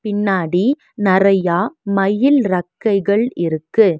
பின்னாடி நெறையா மயில் ரக்கைகள் இருக்கு.